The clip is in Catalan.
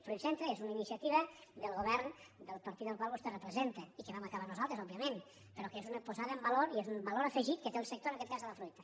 fruitcentre és una iniciativa del govern del partit al qual vostè representa i que vam acabar nosaltres òbviament però que és una posada en valor i és un valor afegit que té el sector en aquest cas de la fruita